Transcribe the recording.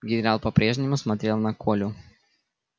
генерал по прежнему смотрел на колю